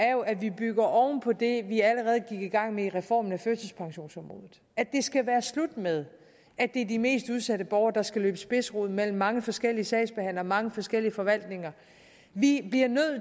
er jo at vi bygger oven på det vi allerede gik i gang med i reformen af førtidspensionsområdet at det skal være slut med at det er de mest udsatte borgere der skal løbe spidsrod mellem mange forskellige sagsbehandlere og mange forskellige forvaltninger vi bliver nødt